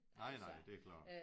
Nej nej det klart